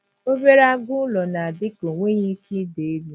Obere agụ ụlọ na - adị ka o nweghị ike ịda elu.